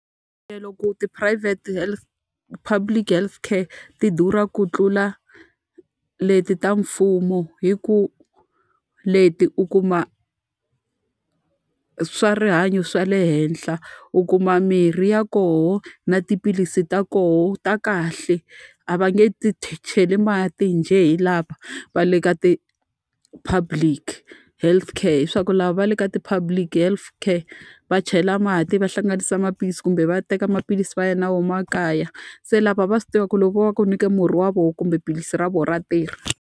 tiphurayivhete health public health care ti durha ku tlula leti ta mfumo hikuva leti u kuma swa rihanyo swa le henhla, u kuma mirhi ya kona na tiphilisi ta kona ta kahle. A a va nge ti cheli mati njhe hi lava va le ka ti-public health care. Hileswaku lava va le ka ti-public health care, va chayela mati, va hlanganisa maphilisi kumbe va teka maphilisi va ya na wona makaya. Se lava va swi tiva ku loko vo va va ku nyike murhi wa vona kumbe philisi ra vona, ra ntirha.